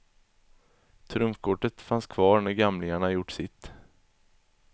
Trumfkortet fanns kvar när gamlingarna gjort sitt.